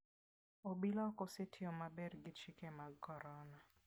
Obila ok osetiyo maber gi chike mag corona.